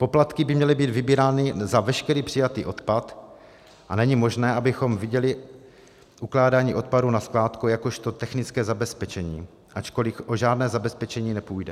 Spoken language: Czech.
Poplatky by měly být vybírány za veškerý přijatý odpad a není možné, abychom viděli ukládání odpadů na skládku jakožto technické zabezpečení, ačkoliv o žádné zabezpečení nepůjde.